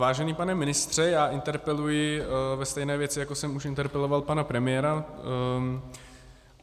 Vážený pane ministře, já interpeluji ve stejné věci, jako jsem už interpeloval pana premiéra.